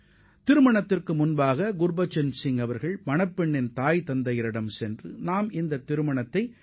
இந்த திருமணத்தை மிகவும் எளிமையான முறையில் நடத்த வேண்டும் என மணப்பெண்ணின் பெற்றோரிடம் குர்பச்சன் சிங் திட்டவட்டமாகத் தெரிவித்துள்ளார்